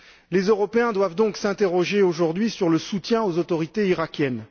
Les Européens doivent donc s'interroger aujourd'hui sur le soutien aux autorités irakiennes.